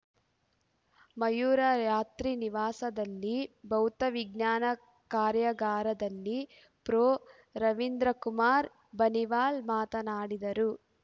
ಮಯೂರ ಯಾತ್ರಿನಿವಾಸದಲ್ಲಿ ಭೌತ ವಿಜ್ಞಾನ ಕಾರ್ಯಾಗಾರದಲ್ಲಿ ಪ್ರೊರವೀಂದರ್‌ಕುಮಾರ್‌ ಬನಿವಾಲ್‌ ಮಾತನಾಡಿದರು